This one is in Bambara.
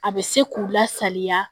A bɛ se k'u lasaliya